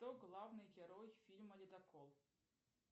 кто главный герой фильма ледокол